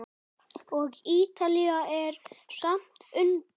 Og Ítalía er skammt undan.